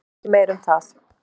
Og ekki meira um það!